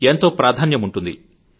ఎంతో ప్రాధాన్యముంటుంది